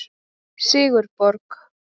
Sigurborg